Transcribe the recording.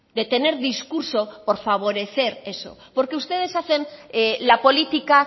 de tener discurso por favorecer eso porque ustedes hacen la política